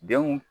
Denw